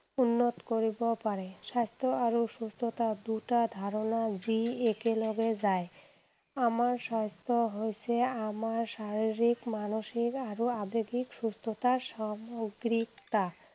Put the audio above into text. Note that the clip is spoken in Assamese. উন্নত কৰিব পাৰে। স্বাস্থ্য আৰু সুস্থতা দুটা ধাৰণা যি একেলগে যায়। আমাৰ স্বাস্থ্য হৈছে আমাৰ শাৰীৰিক, মানসিক আৰু আৱেগিক সুস্থটাৰ সামগ্ৰিকতা।